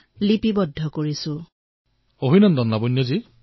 প্ৰধানমন্ত্ৰীঃ লাৱণ্য মহোদয় আপোনাক অশেষ অভিনন্দন